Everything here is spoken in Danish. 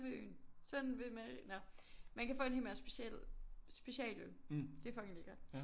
Ved Øen sådan ved nå man kan få en hel masse specialøl det er fucking lækkert